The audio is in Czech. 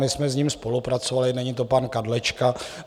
My jsme s ním spolupracovali, není to pan Kadlečka.